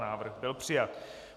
Návrh byl přijat.